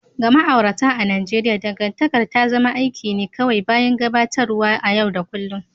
Ga ma'aurata a Najeriya, dangantakar ta zama aiki ne kawai bayan gabatarwa na yau da kullun.